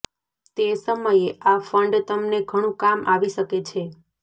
તે સમયે આ ફંડ તમને ઘણું કામ આવી શકે છે